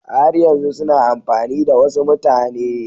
Har yanzu suna amfani da wasu mutane